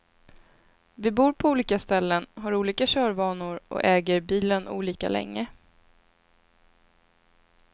Vi bor på olika ställen, har olika körvanor och äger bilen olika länge.